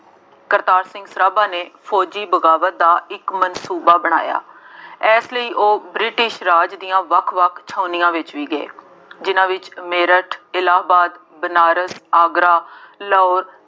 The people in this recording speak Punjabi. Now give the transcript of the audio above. ਕਰਤਾਰ ਸਿੰਘ ਸਰਾਭਾ ਨੇ ਫੌਜੀ ਬਗਾਵਤ ਦਾ ਇੱਕ ਮਨਸੂਬਾ ਬਣਾਇਆ। ਇਸ ਲਈ ਉਹ ਬ੍ਰਿਟਿਸ਼ ਰਾਜ ਦੀਆਂ ਵੱਖ ਵੱਖ ਛਾਉਣੀਆਂ ਵਿੱਚ ਵੀ ਗਏ, ਜਿੰਨ੍ਹਾ ਵਿੱਚ ਮੇਰਠ, ਇਲਾਹਾਬਾਦ, ਬਨਾਰਸ, ਆਗਰਾ, ਲਾਹੌਰ